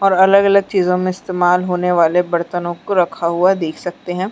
और अलग अलग चीजो में इस्तमाल होने वाले बर्तनों को रखा हुआ देख सकते हैं।